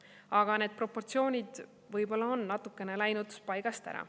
Aga need proportsioonid võib-olla on natukene läinud paigast ära.